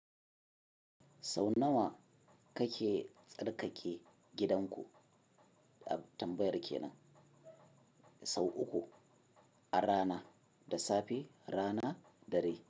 Sau nawa kake tsarkake gidanku? A tambayar kenan sau uku, a rana, da safe, rana dare.